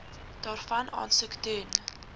daarvan aansoek doen